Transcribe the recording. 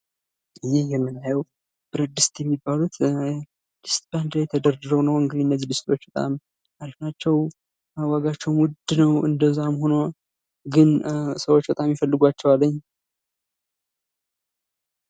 ይህ የምናየው ብረትዲስት የሚባሉት ድስት በአንድ ላይ ተደርድረው ነው የምናየው ዋጋቸው በጣም ዉድ ነው ፤ ግን እንደዛም ሁኖ ሰዎች በጣም ይፈልጉዋቸዋል ማለት ነው።